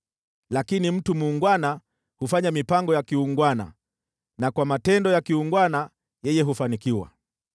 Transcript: Lakini mtu muungwana hufanya mipango ya kiungwana, na kwa matendo ya kiungwana yeye hufanikiwa.